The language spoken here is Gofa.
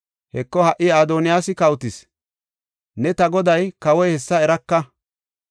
Heko, ha77i Adoniyaasi kawotis; ne ta goday, kawoy hessa eraka.